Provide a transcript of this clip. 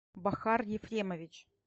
бахар ефремович